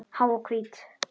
Há og hvít.